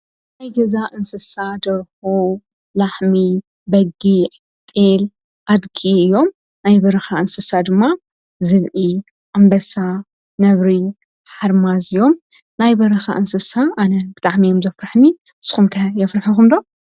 ናይ ገዛ እንስሳ ደርሁ፣ ላሕሚ ፣ብጊዕ ፣ጤል ኣድጊ እዮም ፤ናይ በረኻ እንስሳ ድማ ዝብኢ፣ ኣንበሳ፣ ነብሪ ፣ሓርማዝ እዮም፤ ናይ በረካ እንስሳ ኣነ ብጣዕሚ እዮም ዘፍርሑኒ። ንስኩም ከ የፍርሕኩም ዶ?